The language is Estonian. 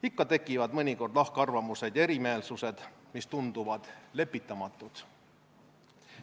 Ikka tekivad mõnikord lahkarvamused ja erimeelsused, mis tunduvad lepitamatud.